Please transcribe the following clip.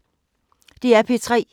DR P3